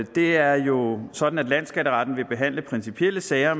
det er jo sådan at landsskatteretten vil behandle principielle sager